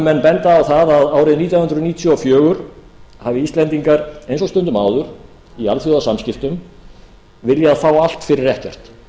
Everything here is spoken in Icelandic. menn benda á það að árið nítján hundruð níutíu og fjögur hafi íslendingar eins og stundum áður í alþjóðasamskiptum viljað fá allt fyrir ekkert